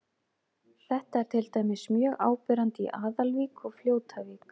Þetta er til dæmis mjög áberandi í Aðalvík og Fljótavík.